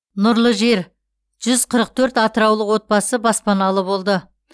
нұрлы жер жүз қырық төрт атыраулық отбасы баспаналы болды